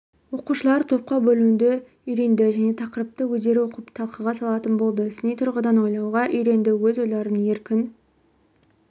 оқушылар топқа бөлінуді үйренді жаңа тақырыпты өздері оқып талқыға салатын болды сыни тұрғыдан ойлауға үйренді өз ойларын еркін